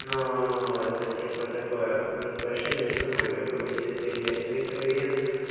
но это типа такое уже с большими суммами если ты имеешь триста гривен